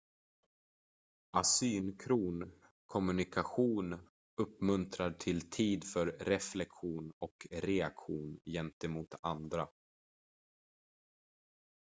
asynkron kommunikation uppmuntrar till tid för reflektion och reaktion gentemot andra